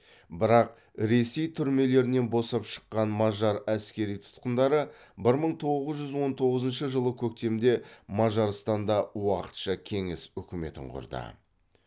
бірақ ресей түрмелерінен босап шыққан мажар әскери тұтқындары бір мың тоғыз жүз он тоғызыншы жылы көктемде мажарстанда уақытша кеңес үкіметін құрды